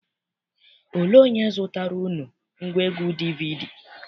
Olee onye zụtaara unu ngwaegwu DVD?